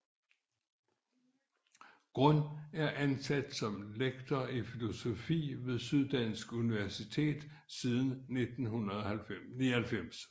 Grund er ansat som lektor i filosofi ved Syddansk Universitet siden 1999